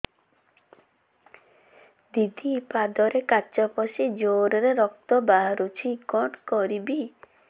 ଦିଦି ପାଦରେ କାଚ ପଶି ଜୋରରେ ରକ୍ତ ବାହାରୁଛି କଣ କରିଵି